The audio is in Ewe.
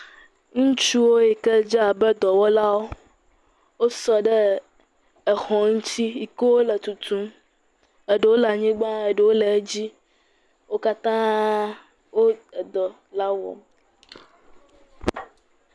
Ŋutsuwo yike dze abe dɔwɔlawo, wosɔ ɖe exɔ ŋuti, yike wole tutum, eɖewo le anyigba, eɖewo le edzi, wo katãa wo edɔ la wɔm.